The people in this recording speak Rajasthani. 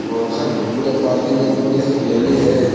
और हर बढ़िया पार्किंग है बढ़िया हरियाली है।